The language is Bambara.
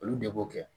Olu de b'o kɛ